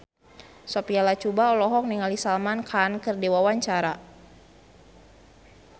Sophia Latjuba olohok ningali Salman Khan keur diwawancara